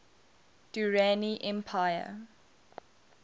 durrani empire